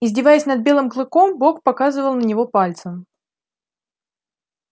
издеваясь над белым клыком бог показывал на него пальцем